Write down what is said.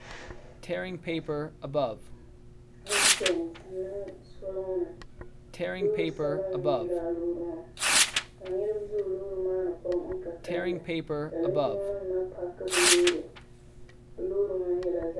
Asidenti n niŋ soli ŋɔ ni loori sabinli n nyɛ lala loori maa ka nitiba zoo loori maa ni pam n ka kalli ka linjima nima maa paaki bɛ loori bɛ loori maa nyɛla zaɣa.